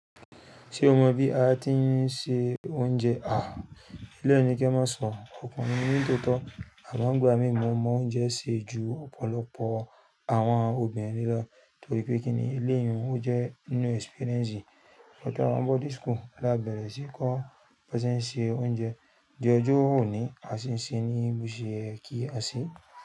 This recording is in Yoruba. Ṣé o mọ bí a ti ń se oúnjẹ? Eléyìí ni kí ẹ má sọ, ọkùnrin ni mi n tòótọ́. Àmo ngbà mi mo mọ oúnjẹ sè ju ọ̀pọ̀lọpọ̀ àwọn obìnrin lọ torí pé kí ni eléyìí, ó jẹ́ inú experience. Gba ta wa ni boarding school lá bẹ́rẹ́ sí n kọ́ bọ́ se ń ṣe oúnjẹ. D'ọjọ oní a sì ń ṣe ní boṣe ye kí a ṣe.